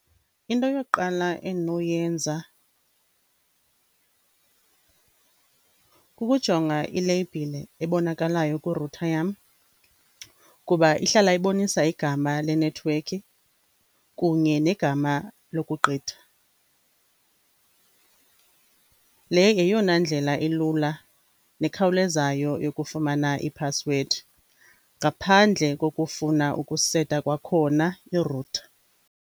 Into yokuqala endinoyenza kukujonga ileyibhile ebonakalayo kwi-router yam kuba ihlala ibonisa igama lenethiwekhi kunye negama lokugqitha. Le yeyona ndlela elula nekhawulezayo yokufumana ipassword ngaphandle kokufuna ukuseta kwakhona i-router.